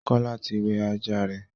Kola tí wẹ ajá rẹ.